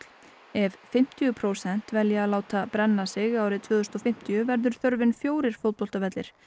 ef fimmtíu prósent velja að láta brenna sig árið tvö þúsund og fimmtíu verður þörfin fjórir fótboltavellir